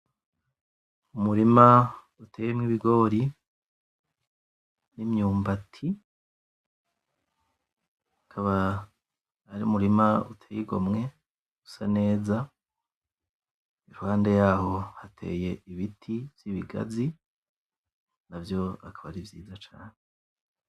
Umurima uteyemwo ibigori n'imyumbati ukaba ari umurima uteye igomwe usa neza, iruhande yaho hateye ibiti vy'ibigazi navyo akaba ari vyiza cane